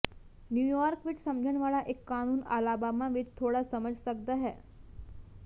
New York ਵਿੱਚ ਸਮਝਣ ਵਾਲਾ ਇੱਕ ਕਾਨੂੰਨ ਅਲਾਬਾਮਾ ਵਿੱਚ ਥੋੜ੍ਹਾ ਸਮਝ ਸਕਦਾ ਹੈ